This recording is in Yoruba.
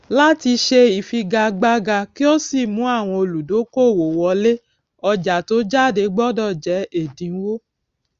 láti ṣe ìfigagbága kí ó sì mú àwọn olùdókòòwò wọlé ọjà tó jáde gbódò jé èdínwó